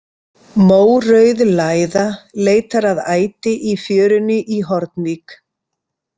Mórauð læða leitar að æti í fjörunni í Hornvík.